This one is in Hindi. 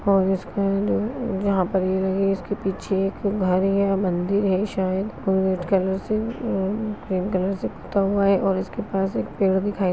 --और जाहाँ पर इसके पीछे एक घर या मंदिर है शायद और क्रीम कलर से पुता हुआ है और इसके पास एक पेड़ दिखाई--